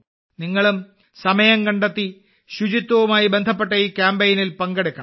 നിങ്ങളും സമയം കണ്ടെത്തി ശുചിത്വവുമായി ബന്ധപ്പെട്ട ഈ കാമ്പയിനിൽ പങ്കെടുക്കണം